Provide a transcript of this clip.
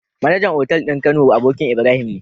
MAnager otal din kano abokin Ibrahim ne